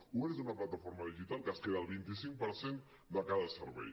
uber és una plataforma digital que es queda el vint cinc per cent de cada servei